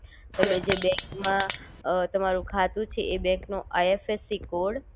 તમે જે બેન્ક માં અ તમારું ખાતું છે એ બેન્ક નો આઈએફએસી કોડ